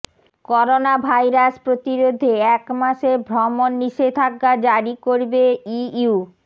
coronavirus প্রতিরোধে এক মাসের ভ্রমণ নিষেধাজ্ঞা জারি করবে ইইউ